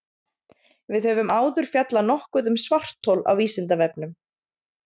Við höfum áður fjallað nokkuð um svarthol á Vísindavefnum.